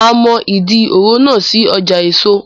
A mọ Ìdí òro náà sí ọjà èso